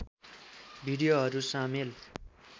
भिडियोहरू सामेल